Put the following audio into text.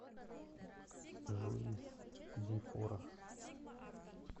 жуис ди фора